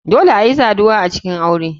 Dole ayi saduwa a cikin aure.